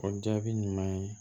O jaabi ɲuman ye